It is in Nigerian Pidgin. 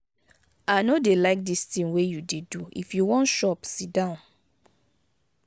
i no dey like dis thing you dey do. if you wan shop sit down.